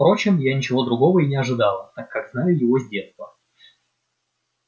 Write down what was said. впрочем я ничего другого и не ожидала так как знаю его с детства